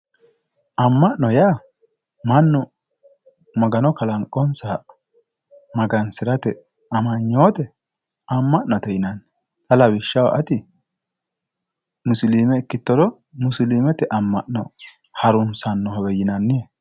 Amma'no yaa mannu Magano kalanqonsaha magansirate amanyoote ama'ate yinanni. Xa lawishshaho ati musiliime ikkittoro musiliimete amma'no harunsannohowe yinannihe.